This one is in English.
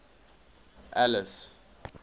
alice